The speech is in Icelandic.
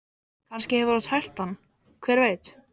Kannski hefur hún tælt hann, hver veit?